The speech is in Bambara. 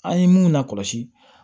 An ye mun lakɔlɔsi